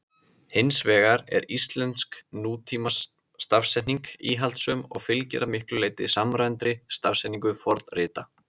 Hins vegar er íslensk nútímastafsetning íhaldssöm og fylgir að miklu leyti samræmdri stafsetningu fornrita.